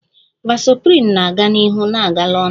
Vasoprin na-aga n'ihu na-agala onu